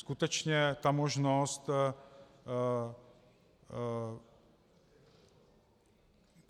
Skutečně ta možnost,